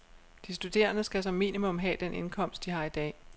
De studerende skal som minimum have den indkomst, de har i dag.